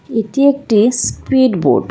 এটি একটি speed boat.